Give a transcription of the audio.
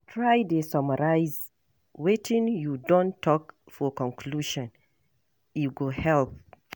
Try dey summarize wetin you don talk for conclusion, e go help.